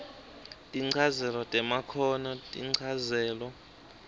tinchazelo temakhono tinchazelo